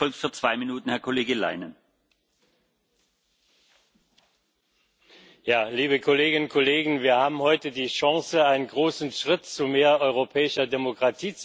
Herr Präsident, liebe Kolleginnen und Kollegen! Wir haben heute die Chance, einen großen Schritt zu mehr europäischer Demokratie zu machen.